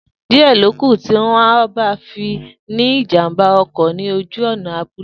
Diẹ lókù tí wọn ọ bá fi ní ìjàmbá ọkọ̀ ní ojú ònà abúlé